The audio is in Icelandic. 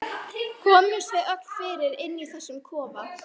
Komumst við öll fyrir inni í þessum kofa?